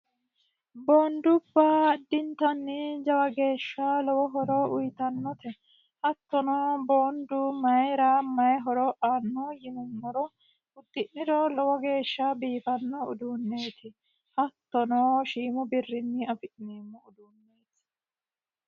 Boondubba addintanni jawa geeshsha lowo horo uyiitannote. hattono boondu mayiira mayii horo aannoho yinumoro udi'niro lowo geeshsha biifano uduuneti. hattono shiimu birrini afi'neemmoho.